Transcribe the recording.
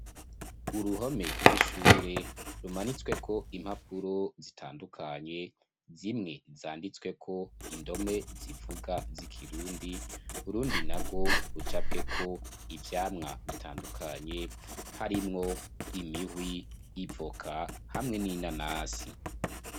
Uruhome rw'ishure, rumanitsweko impapuro zitandukanye, zimwe, zanditsweko indome zivuga, z'ikirundi, urundi narwo, rucapweko ivyamwa bitandukanye; harimwo imihwi, ivoka, hamwe n'inanasi.